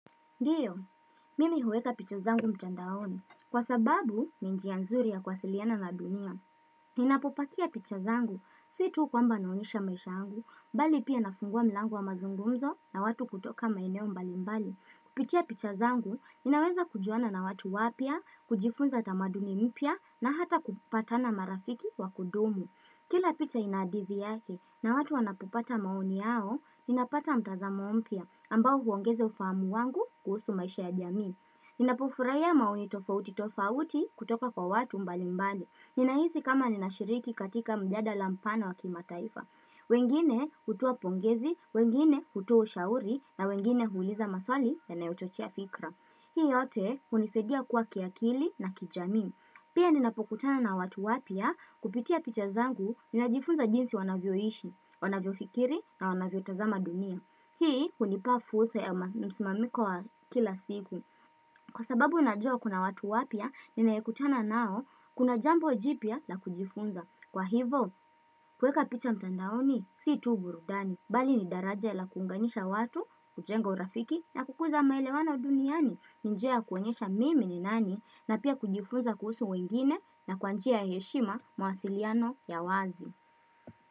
Ndiyo, mimi huweka picha zangu mtandaoni. Kwa sababu, ni njia nzuri ya kuwasiliana na dunia. Ninapopakia picha zangu. Si tu kwamba naonyesha maisha angu, bali pia nafungua milango wa mazungumzo na watu kutoka maeneo mbali mbali. Kupitia picha zangu, ninaweza kujuana na watu wapya, kujifunza tamaduni mpya na hata kupata na marafiki wa kudumu. Kila picha ina hadithi yake na watu wanapopata maoni yao, ninapata mtazamo mpya ambao huongeza ufahamu wangu kuhusu maisha ya jamii. Ninapofurahia maoni tofauti tofauti kutoka kwa watu mbalimbali. Ninahisi kama ninashiriki katika mjadala mpana wa kimataifa. Wengine hutoa pongezi, wengine hutoa ushauri na wengine huuliza maswali yanayochochea fikra. Hii yote hunisaidia kua kiakili na kijamii. Pia ninapokutana na watu wapya kupitia picha zangu ninajifunza jinsi wanavyoishi, wanavyofikiri na wanavyotazama dunia Hii hunipa fursa ya msimamiko wa kila siku Kwa sababu najua kuna watu wapya ninayekutana nao kuna jambo jipya la kujifunza Kwa hivo kuweka picha mtandaoni si tu burudani Bali ni daraja la kuunganisha watu, kujenga urafiki na kukuza maelewano duniani ni njia ya kuonyesha mimi ni nani na pia kujifunza kuhusu wengine na kwa njia ya heshima mawasiliano ya wazi.